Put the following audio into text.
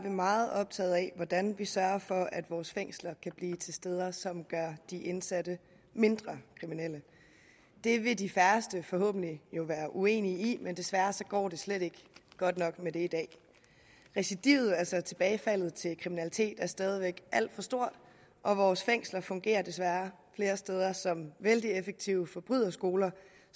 vi meget optaget af hvordan vi sørger for at vores fængsler kan blive til steder som gør de indsatte mindre kriminelle det vil de færreste forhåbentlig være uenige i men desværre går det slet ikke godt nok med det i dag recidivet altså tilbagefaldet til kriminalitet er stadig væk alt for stort og vores fængsler fungerer desværre flere steder som vældig effektive forbryderskoler